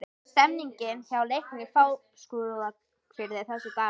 Hvernig er stemningin hjá Leikni Fáskrúðsfirði þessa dagana?